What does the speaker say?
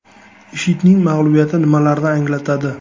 IShIDning mag‘lubiyati nimalarni anglatadi?